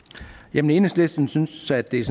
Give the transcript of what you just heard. jamen enhedslisten synes at det